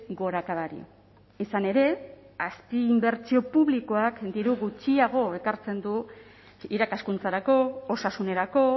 gorakadari izan ere azpiinbertsio publikoak diru gutxiago ekartzen du irakaskuntzarako osasunerako